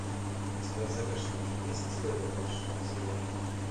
у тебя в загашнике есть теория большого взрыва